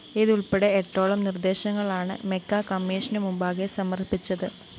ഇതുള്‍പ്പടെ എട്ടോളം നിര്‍ദേശങ്ങളാണ്‌ മെക്ക കമ്മിഷനു മുമ്പാകെ സമര്‍പ്പിച്ചത്‌